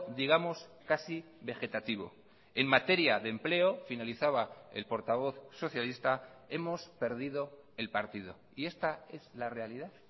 digamos casi vegetativo en materia de empleo finalizaba el portavoz socialista hemos perdido el partido y esta es la realidad